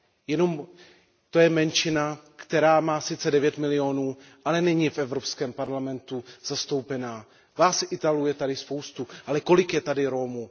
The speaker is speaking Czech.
Je to menšina, která má sice 9 milionů, ale není v Evropském parlamentu zastoupena. Vás Italů je tady spousta, ale kolik je tady Romů?